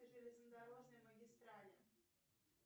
железнодорожной магистрали